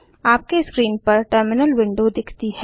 आपके स्क्रीन पर terminal window दिखती है